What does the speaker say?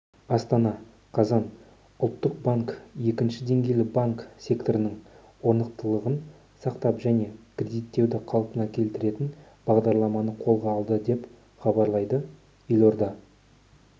астана қазан ұлттық банк екінші деңгейлі банк секторының орнықтылығын сақтап және кредиттеуді қалпына келтіретін бағдарламаны қолға алды деп хабарлады елорда